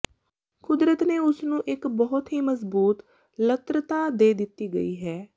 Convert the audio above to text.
ਕੁਦਰਤ ਨੇ ਉਸ ਨੂੰ ਇੱਕ ਬਹੁਤ ਹੀ ਮਜ਼ਬੂਤ ਲਤ੍ਤਾ ਦੇ ਦਿੱਤੀ ਗਈ ਹੈ